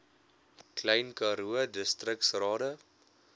klein karoo distriksrade